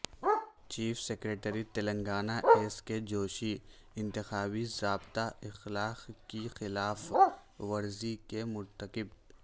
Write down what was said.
chief secretary Telangana S K Joshi انتخابی ضابطہ اخلاق کی خلاف ورزی کے مرتکب